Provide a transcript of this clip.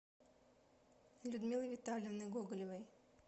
людмилы витальевны гоголевой